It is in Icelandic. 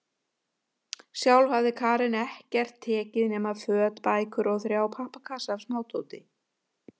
Sjálf hafði Karen ekkert tekið nema föt, bækur og þrjá pappakassa af smádóti.